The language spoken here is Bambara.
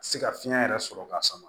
Se ka fiɲɛ yɛrɛ sɔrɔ ka sama